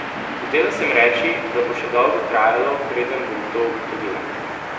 Hotela sem reči, da bo še dolgo trajalo, preden bom to ugotovila.